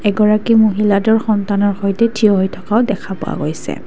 গৰাকী মহিলাটোৰ সন্তানৰ সৈতে থিয় হৈ থকাও দেখা পোৱা গৈছে।